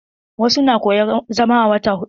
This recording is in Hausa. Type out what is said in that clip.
Wasu na koyan zama a wata huɗu.